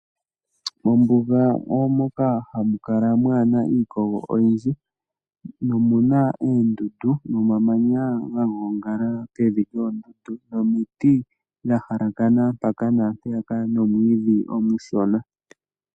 Mombuga omo moka hamu kala mwaana iikogo oyindji, nomuna uundundu, nomamanya ga gongala kevi lyoondundu, nomiti dha halakana mpaka naampeyaka, nomwiidhi omushona.